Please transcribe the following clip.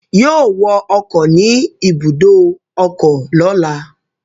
Yóò wọ ọkọ̀ ni ibùdó ọkọ lọ́la